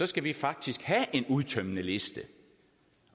skal vi faktisk have en udtømmende liste